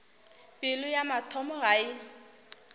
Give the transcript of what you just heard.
pelo ya motho ga e